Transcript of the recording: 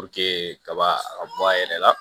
kaba a ka bɔ a yɛrɛ la